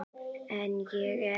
En ég er.